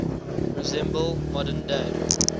resemble modern day